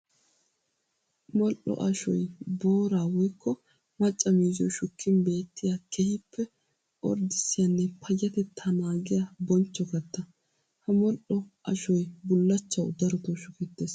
Modhdho ashoy boora woykko macca miizziyo shukkin beettiya keehippe orddissiyanne payyatetta naagiyaa bonchcho katta. Ha modhdho ashoy bullachchawu darotto shuketees.